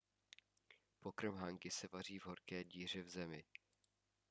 pokrm hangi se vaří v horké díře v zemi